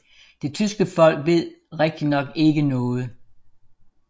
Det tyske folk ved rigtignok ikke noget